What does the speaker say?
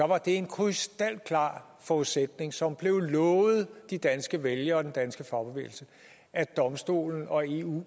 var det en krystalklar forudsætning som blev lovet de danske vælgere og den danske fagbevægelse at domstolen og eu